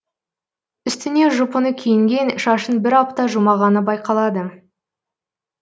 үстіне жұпыны киінген шашын бір апта жумағаны байқалады